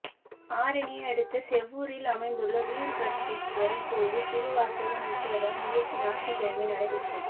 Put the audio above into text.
ஆரணியை அடுத்த சேவூரில் அமைந்துள்ள விருபாட்சீஸ்வரா் கோயிலில் திருவாசக முற்றோதல் நிகழ்ச்சி ஞாயிற்றுக்கிழமை நடைபெற்றது